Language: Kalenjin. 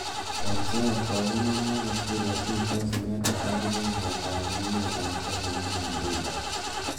Eng soet kokimwa Moses Kuria tuitos inendet ak rubeiywot ab emet ab Kenya William ruto.